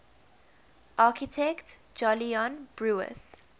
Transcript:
architect jolyon brewis